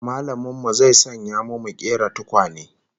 Mallamin mu zai sanya mu mu kera tukwane